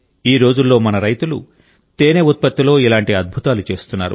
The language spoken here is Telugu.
ఈ రోజుల్లో మన రైతులు తేనె ఉత్పత్తిలో ఇలాంటి అద్భుతాలు చేస్తున్నారు